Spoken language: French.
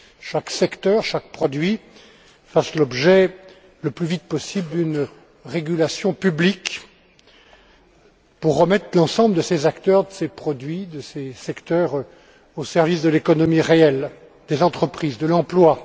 chaque secteur, chaque produit fassent l'objet le plus vite possible d'une régulation publique, et cela, pour remettre l'ensemble de ces acteurs, de ces produits, de ces secteurs au service de l'économie réelle des entreprises, de l'emploi.